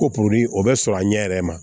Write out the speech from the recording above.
Ko o bɛ sɔrɔ a ɲɛ yɛrɛ ma